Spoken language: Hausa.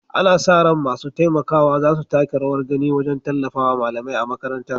Ana sa ran masu taimakawa za su taka rawar gani wajen tallafawa malamai a makarantar.